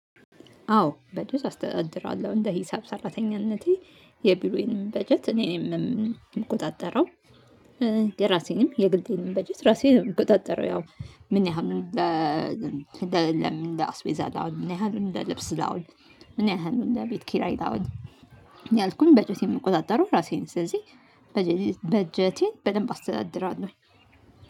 አዎ በጀት አስተዳድራለሁ እንደ ሂሳብ ሰራተኝነቴ የቢሮዬንም በጀት እኔ ነኝ የምቆጣጠረው። የራሴንም የግሌንም በጀት ራሴ ነኝ የምቆጣጠረው። ያው ምን ያህል እንደ ለ አስቤዛ ላውጣ ምን ያህሉን ለ ልብስ ላውጣ ምን ያህሉን ለ ቤት ኪራይ ላውል እያልኩኝ በጀቴን የምቆጣጠረው ራሴ ነኝ። ስለዚህ በጀቴን በደንብ አስተዳድራለሁ